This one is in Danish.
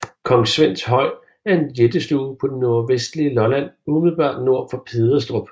Kong Svends Høj er en jættestue på det nordvestlige Lolland umiddelbart nord for Pederstrup